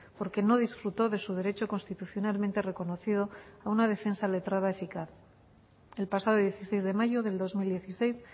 porque no disfrutó de su derecho constitucionalmente reconocido a una defensa letrada eficaz el pasado dieciséis de mayo del dos mil dieciséis